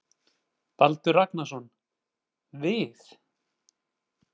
Baldur Ragnarsson: Við?